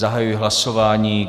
Zahajuji hlasování.